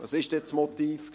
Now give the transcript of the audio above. Was war dann das Motiv?